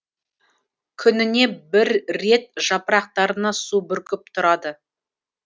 күніне бір рет жапырақтарына су бүркіп тұрады